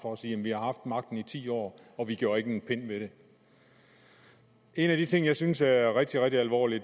og sige vi har haft magten i ti år og vi gjorde ikke en pind ved det en af de ting jeg synes er er rigtig rigtig alvorlige